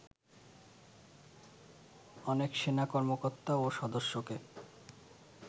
অনেক সেনা কর্মকর্তা ও সদস্যকে